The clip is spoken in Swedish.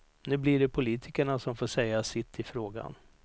Nu bli det politikerna som får säga sitt i frågan.